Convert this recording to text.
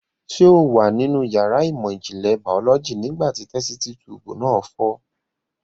Ṣé o wà nínú yàrá ìmọ̀ ìjìnlẹ̀ bàólọ́jì nígbà tí tẹ́sítí tuùbù náà fọ́?